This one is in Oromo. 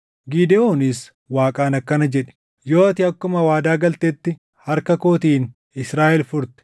Gidewoonis Waaqaan akkana jedhe; “Yoo ati akkuma waadaa galtetti harka kootiin Israaʼel furte,